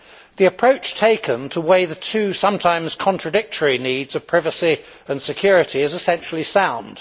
The approach taken to weigh the two sometimes contradictory needs of privacy and security is essentially sound.